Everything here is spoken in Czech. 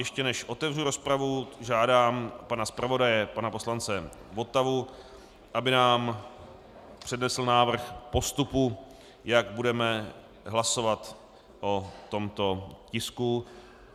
Ještě než otevřu rozpravu, žádám pana zpravodaje, pana poslance Votavu, aby nám přednesl návrh postupu, jak budeme hlasovat o tomto tisku.